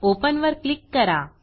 open वर click करा